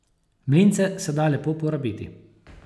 Mlince se da lepo porabiti.